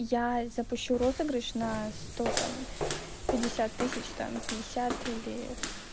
я запущу розыгрыш на сто там пятьдесят тысяч там пятьдесят или